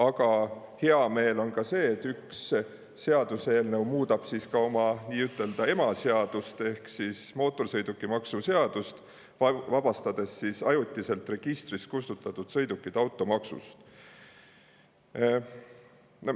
Aga hea meel on ka selle üle, et seaduseelnõu muudab oma nii-ütelda emaseadust ehk mootorsõidukimaksu seadust nii, et vabastab ajutiselt registrist kustutatud sõidukid automaksust.